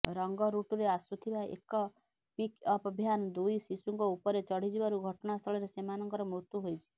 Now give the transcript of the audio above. ରଙ୍ଗରୁଟରେ ଆସୁଥିବା ଏକ pickup van ଦୁଇ ଶିଶୁଙ୍କ ଉପରେ ଚଢିଯିବାରୁ ଘଟଣାସ୍ଥଳରେ ସେମାନଙ୍କର ମୃତ୍ୟୁ ହୋଇଛି